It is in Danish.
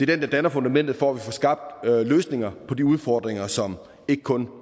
den der danner fundamentet for at vi får skabt løsninger på de udfordringer som ikke kun